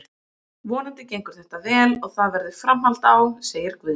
Vonandi gengur þetta vel og það verður framhald á, segir Guðni.